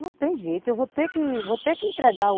Não tem jeito, eu vou ter que vou ter que entregar o